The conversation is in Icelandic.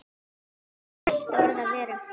Enginn mælti orð af vörum.